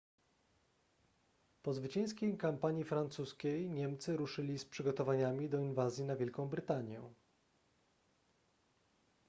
po zwycięskiej kampanii francuskiej niemcy ruszyli z przygotowaniami do inwazji na wielką brytanię